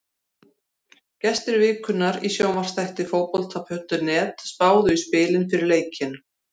Gestir vikunnar í sjónvarpsþætti Fótbolta.net spáðu í spilin fyrir leikinn.